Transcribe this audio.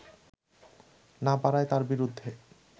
না পারায় তার বিরুদ্ধে